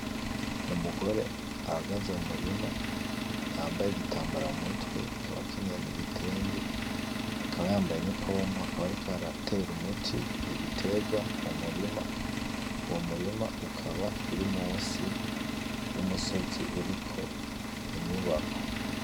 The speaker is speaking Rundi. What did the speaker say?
Ni umugore ahagaze mu murima yambaye igitambara mu mutwe akaba akenyeye n'igitenge akaba yambaye n'ipompo akaba ariko aratera umuti ibiterwa mu murima, uwo murima ukaba uri munsi y'umusozi uriko inyubako.